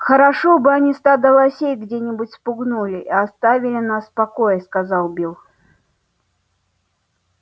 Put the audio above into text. хорошо бы они стадо лосей где-нибудь спугнули и оставили нас в покое сказал билл